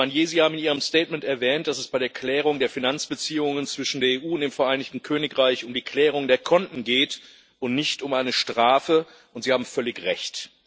Herr Barnier, Sie haben in Ihrem Statement erwähnt, dass es bei der Klärung der Finanzbeziehungen zwischen der EU und dem Vereinigten Königreich um die Klärung der Konten geht und nicht um eine Strafe, und Sie haben völlig Recht.